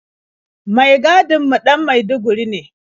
Mai gadin mu ɗan maiduguri ne.